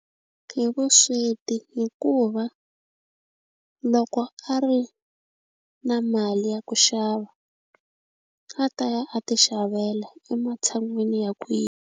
Hi vusweti hikuva loko a ri na mali ya ku xava a ta ya a ti xavela ematshan'wini ya .